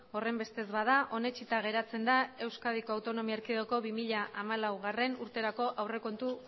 horrenbestez bada onetsita geratzen da euskadiko autonomia erkidegoko bi mila hamalaugarrena urterako aurrekontu